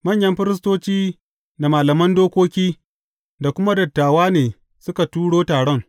Manyan firistoci da malaman dokoki, da kuma dattawa ne suka turo taron.